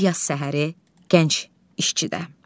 Bir yaz səhəri gənc işçidə.